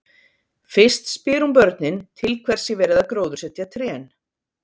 Fyrst spyr hún börnin til hvers sé verið að gróðursetja trén.